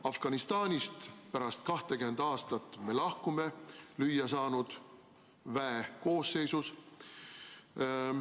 Afganistanist lahkume pärast 20 aastat lüüasaanud väe koosseisus.